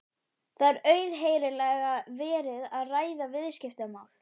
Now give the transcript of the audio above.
Það er auðheyrilega verið að ræða viðskiptamál.